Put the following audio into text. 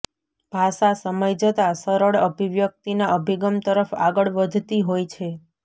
ભાષા સમય જતાં સરળ અભિવ્યક્તિના અભિગમ તરફ આગળ વધતી હોય છે